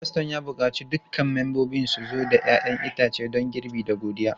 Faston ya buƙaci dukkan membobin su zo da 'ya'yan itace don girbi da godiya.